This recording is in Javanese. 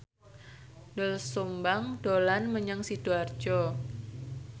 Doel Sumbang dolan menyang Sidoarjo